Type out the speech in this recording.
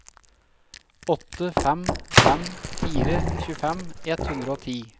åtte fem fem fire tjuefem ett hundre og ti